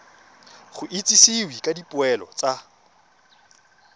go itsisiwe ka dipoelo tsa